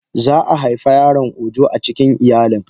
Zaa haifa yaron ojo acikin iyalin.